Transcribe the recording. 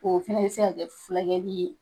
O fɛnɛ bɛ se ka kɛ fula kɛli ye.